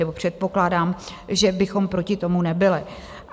Nebo předpokládám, že bychom proti tomu nebyli.